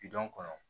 kɔnɔ